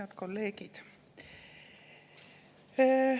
Head kolleegid!